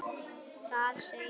Það segir: